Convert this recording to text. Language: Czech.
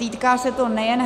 Týká se to nejen -